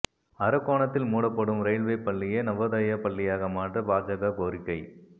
அரக்கோணத்தில் மூடப்படும் ரயில்வே பள்ளியை நவோதயா பள்ளியாக மாற்ற பாஜக கோரிக்கை